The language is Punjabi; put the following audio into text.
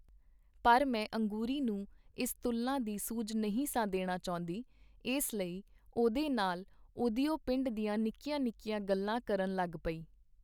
ਪਰ ਮੈਂ ਅੰਗੂਰੀ ਨੂੰ ਇਸ ਤੁਲਨਾ ਦੀ ਸੂਝ ਨਹੀਂ ਸਾਂ ਦੇਣਾ ਚਾਹੁੰਦੀ, ਇਸ ਲਈ ਉਹਦੇ ਨਾਲ ਉਹਦਿਓ ਪਿੰਡ ਦੀਆਂ ਨਿੱਕੀਆਂ ਨਿੱਕੀਆਂ ਗੱਲਾਂ ਕਰਨ ਲੱਗ ਪਈ.